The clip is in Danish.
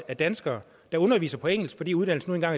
af danskere der underviser på engelsk fordi uddannelsen nu